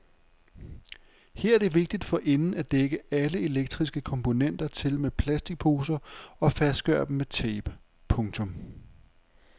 Her er det vigtigt forinden at dække alle elektriske komponenter til med plastikposer og fastgøre dem med tape. punktum